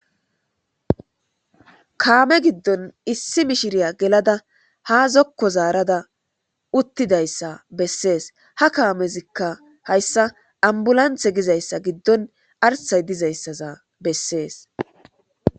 kaame giddon issi mishiriya gelada ha zokko zaarada uttidayssa bessees ha kaamezikka hayssa ambulanthe gizayssa giddon arsay dizayssaza bessees